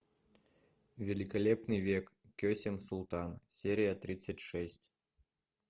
великолепный век кесем султан серия тридцать шесть